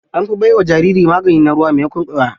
An fi bai wa jarirai magani na ruwa maimakon ƙwaya.